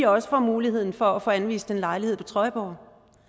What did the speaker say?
også får muligheden for at få anvist en lejlighed på trøjborg